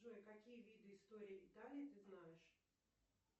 джой какие виды истории италии ты знаешь